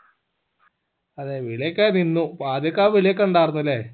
അതെ വിളിയൊക്കെ നിന്നു അപ്പൊ ആദ്യോക്കെ ആ വിളി ഒക്കെ ഉണ്ടാർന്നല്ലേ